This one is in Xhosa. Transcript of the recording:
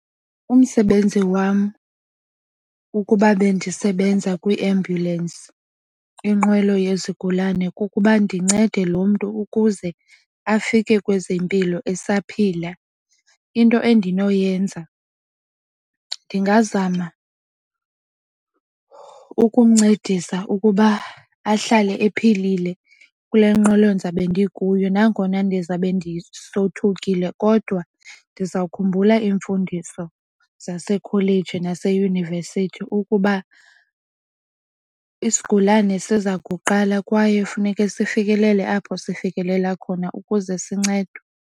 Umsebenzi wam ukuba bendisebenza kwiambhyulensi inqwelo yezigulana kukuba ndincede lo mntu ukuze afike kwezempilo esaphila. Into endinoyenza ndingazama ukumncedisa ukuba ahlale ephilile kule nqwelo ndizabe ndikuyo nangona ndizabe ndisothukile. Kodwa ndiza kukhumbula iimfundiso zasekholeji naseyunivesithi ukuba isigulane siza kuqala kwaye funeke sifikelele apho sifikelela khona ukuze sincedwe.